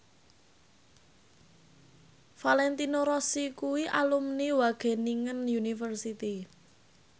Valentino Rossi kuwi alumni Wageningen University